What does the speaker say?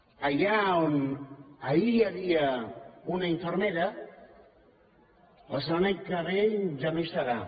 allà on ahir hi havia una infermera la setmana que ve ja no hi serà